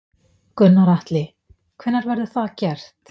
Gunnar Atli: Hvenær verður það gert?